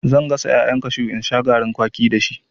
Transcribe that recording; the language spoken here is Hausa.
Zan gasa ƴaƴan kashu in sha garin kwaki dashi.